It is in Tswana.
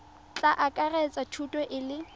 tla akaretsa thuto e le